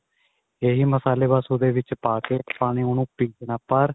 ਇਹੀ ਮਸਾਲੇ ਬੱਸ ਉਹਦੇ ਵਿੱਚ ਪਾ ਕੇ ਆਪਾਂ ਨੇ ਉਹਨੂੰ ਪੀਸਨਾ ਪਰ